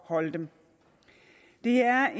holde dem det er